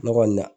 Ne kɔni na